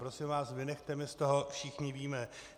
Prosím vás, vynechte mě z toho všichni víme.